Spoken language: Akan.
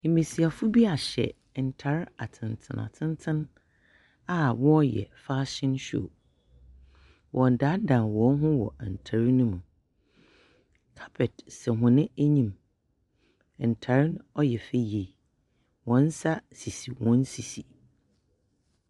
Mbasiafo bi ahyɛ ntar atsentsen atsentsen a wɔreyɛ fashion show, wɔredandan hɔnho wɔ ntar no mu, carpet saw hɔn enyim, ntar no ɔyɛ fɛ yie, hɔn nsa sisi hɔn sisi.